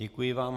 Děkuji vám.